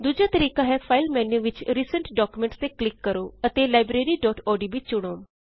ਦੂਜਾ ਤਰੀਕਾ ਹੈ ਫਾਇਲ ਮੇਨ੍ਯੂ ਵਿਚ ਰਿਸੈਂਟ ਡਾਕੂਮੈਂਟਸ ਤੇ ਕਲਿਕ ਕਰੋ ਅਤੇ libraryਓਡੀਬੀ ਚੁਣੋ